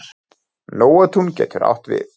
Nóatún getur átt við